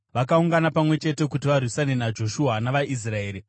Vakaungana pamwe chete kuti varwisane naJoshua navaIsraeri.